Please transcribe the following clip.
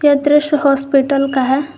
यह दृश्य हॉस्पिटल का है।